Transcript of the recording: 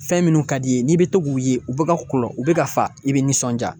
Fɛn minnu ka d'i ye n'i be to k'u ye u bɛ ka kulɔ u bɛ ka fa i be nisɔndiya.